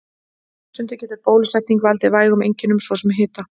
Stundum getur bólusetning valdið vægum einkennum, svo sem hita.